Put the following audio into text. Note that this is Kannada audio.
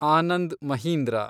ಆನಂದ್ ಮಹೀಂದ್ರ